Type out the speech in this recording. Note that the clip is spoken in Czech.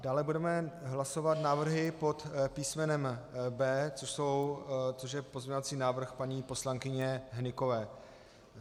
Dále budeme hlasovat návrhy pod písmenem B, což je pozměňovací návrh paní poslankyně Hnykové.